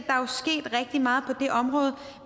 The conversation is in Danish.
rigtig meget på det område